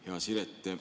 Hea Siret!